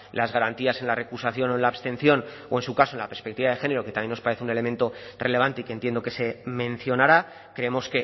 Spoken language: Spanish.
las garantías en la recusación o en la abstención o en su caso en la perspectiva de género que también nos parece un elemento relevante y que entiendo que se mencionará creemos